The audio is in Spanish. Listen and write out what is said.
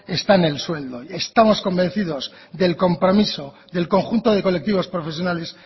está en el sueldo estamos convencidos del compromiso del conjunto de colectivos profesionales